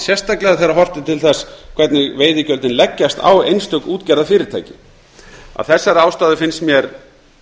sérstaklega þegar horft er til þess hvernig veiðigjöldin leggjast á einstök útgerðarfyrirtæki af þessari ástæðu finnst mér